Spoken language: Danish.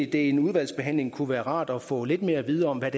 det i en udvalgsbehandling kunne være rart at få lidt mere at vide om hvad